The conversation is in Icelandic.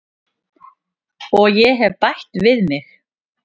Og ég hef bætt við mig.